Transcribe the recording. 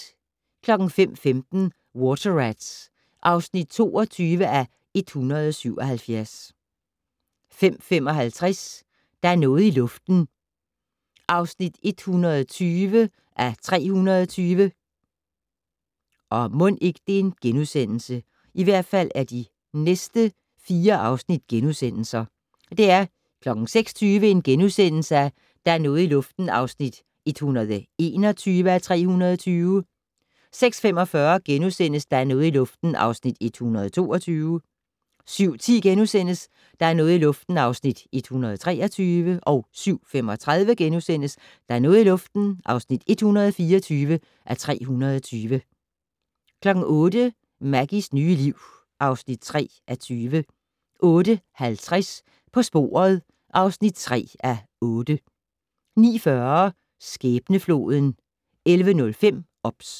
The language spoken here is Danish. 05:15: Water Rats (22:177) 05:55: Der er noget i luften (120:320) 06:20: Der er noget i luften (121:320)* 06:45: Der er noget i luften (122:320)* 07:10: Der er noget i luften (123:320)* 07:35: Der er noget i luften (124:320)* 08:00: Maggies nye liv (3:20) 08:50: På sporet (3:8) 09:40: Skæbnefloden 11:05: OBS